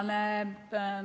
Aitäh!